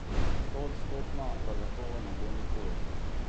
Stoodstotna zagotovo ne bo nikoli.